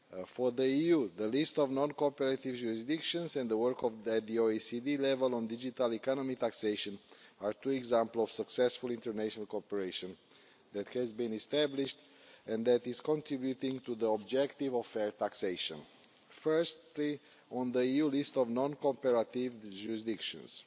For the EU, the list of non cooperative jurisdictions and the work at the OECD level on digital economy taxation are two examples of successful international cooperation that has been established and that is contributing to the objective of fair taxation. Firstly, on the EU list of non cooperative jurisdictions.